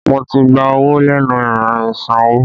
Mo ti gba owó lẹ́nu irin ìsanwó